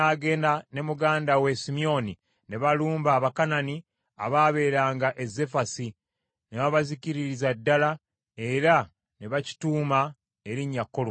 Awo Yuda n’agenda ne muganda we Simyoni ne balumba Abakanani abaabeeranga e Zefasi, ne babazikiririza ddala era ne bakituuma erinnya Koluma .